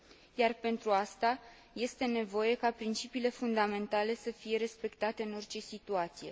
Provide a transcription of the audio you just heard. Iar pentru aceasta, este nevoie ca principiile fundamentale să fie respectate în orice situație.